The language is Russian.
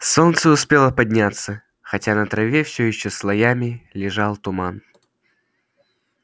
солнце успело подняться хотя на траве все ещё слоями лежал туман